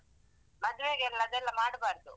ಮದ್ವೆಗೆಲ್ಲ ಅದೆಲ್ಲಾ ಮಾಡ್ಬಾರ್ದು.